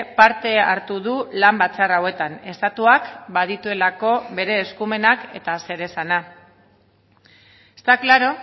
parte hartu du lan batzar hauetan estatuak badituelako bere eskumenak eta zeresana está claro